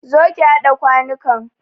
Zo ki haɗa kwanukan!